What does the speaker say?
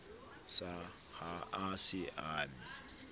sa a ha se ame